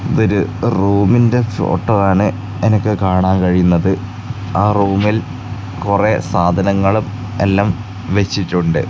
ഇത് ഒരു റൂമിന്റെ ഫോട്ടോ ആണ് എനിക്ക് കാണാൻ കഴിയുന്നത് ആ റൂമിൽ കൊറേ സാധനങ്ങളും എല്ലാം വെച്ചിട്ടുണ്ട്.